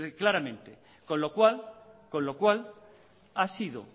claramente con lo cual ha sido